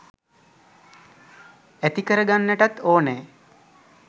ඇති කරගන්නටත් ඕනෑ.